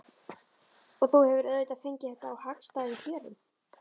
Og þú hefur auðvitað fengið þetta á hagstæðum kjörum?